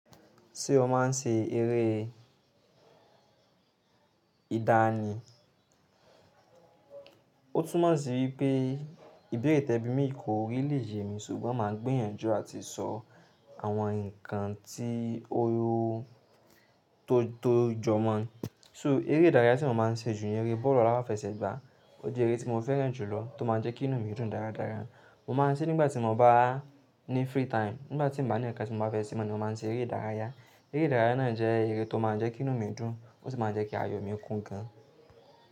Ṣé o máa ń ṣe eré ìdá ni? Ó tún mọ̀ sí wípé ìbérè tẹ̀bí mi kò really yemi ṣùgbọ́n màá gbìyànjú àti sọ àwọn ǹkan tí ó tó jọ mọ́. So eré ìdárayá tí mo máa ń ṣe jù ni eré bọ́ọ̀lù aláfẹsẹ̀gbá. Ó jẹ́ eré tí mo fẹ́ràn jù lọ tó máa ń jẹ́ kí inú mi dùn dáradára. Mo máa ń ṣe nígbà tí mo bá ní free time, nígbà tí mio bá ní ǹkan tí mo bá fẹ́ ṣe mo ni mo máa ń ṣe eré ìdárayá. Eré ìdárayá náà jẹ́ eré tó máa ń jẹ́ kí inú mi dùn, ó sì máa ń jẹ́ kí ayọ̀ mi kún gan.